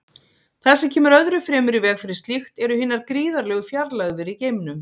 Það sem kemur öðru fremur í veg fyrir slíkt eru hinar gríðarlegu fjarlægðir í geimnum.